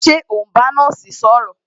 Ṣé o n bá nọ́ọ̀sì sọ̀rọ̀?